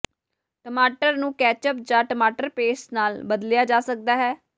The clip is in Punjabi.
ਟਮਾਟਰ ਨੂੰ ਕੈਚੱਪ ਜਾਂ ਟਮਾਟਰ ਪੇਸਟ ਨਾਲ ਬਦਲਿਆ ਜਾ ਸਕਦਾ ਹੈ